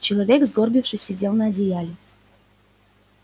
человек сгорбившись сидел на одеяле